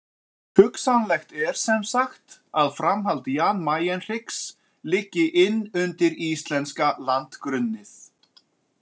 Hugsanlegt er semsagt að framhald Jan Mayen-hryggs liggi inn undir íslenska landgrunnið.